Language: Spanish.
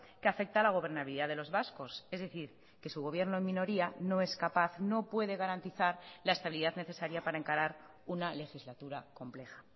que afecta a la gobernabilidad de los vascos es decir que su gobierno en minoría no es capaz no puede garantizar la estabilidad necesaria para encarar una legislatura compleja